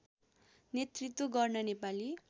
नेतृत्त्व गर्न नेपाली